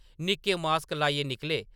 निक्के मास्क लाइयै निकले ।